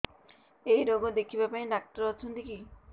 ଏଇ ରୋଗ ଦେଖିବା ପାଇଁ ଡ଼ାକ୍ତର ଅଛନ୍ତି କି